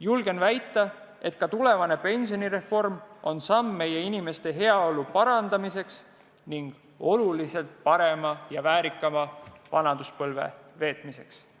Julgen väita, et ka tulevane pensionireform on samm meie inimeste heaolu parandamise ning oluliselt parema ja väärikama vanaduspõlve veetmise poole.